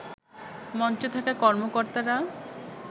মঞ্চে থাকা কর্মকর্তারা